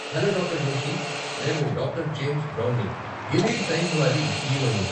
Hello doctor Joshi. నేను doctor James బ్రౌన్ని, Gilead science వారి సీఈఓ ని.